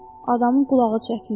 Adamın qulağı çəkilirdi.